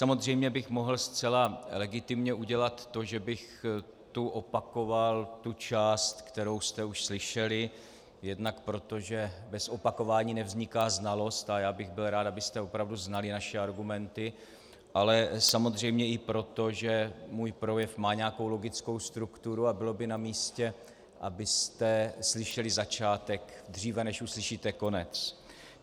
Samozřejmě bych mohl zcela legitimně udělat to, že bych tu opakoval tu část, kterou jste už slyšeli, jednak proto, že bez opakování nevzniká znalost a já bych byl rád, abyste opravdu znali naše argumenty, ale samozřejmě i proto, že můj projev má nějakou logickou strukturu a bylo by namístě, abyste slyšeli začátek, dříve než uslyšíte konec.